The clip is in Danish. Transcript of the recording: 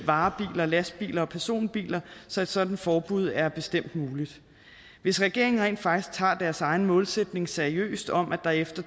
varebiler lastbiler og personbiler så et sådant forbud er bestemt muligt hvis regeringen rent faktisk tager deres egen målsætning seriøst om at der efter